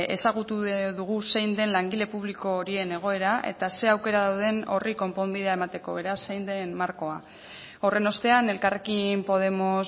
ezagutu dugu zein den langile publiko horien egoera eta zein aukera dauden horri konponbidea emateko beraz zein den markoa horren ostean elkarrekin podemos